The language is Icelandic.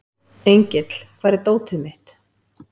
Engill, hvar er dótið mitt?